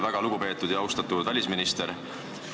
Väga lugupeetud ja austatud välisminister!